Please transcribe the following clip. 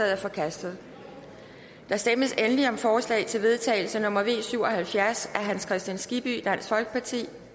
er forkastet der stemmes endelig om forslag til vedtagelse nummer v syv og halvfjerds af hans kristian skibby